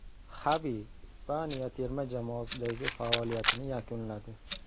Xavi Ispaniya terma jamoasidagi faoliyatini yakunladi.